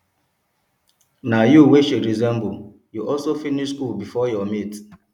na you wey she resemble you also finish school before your mates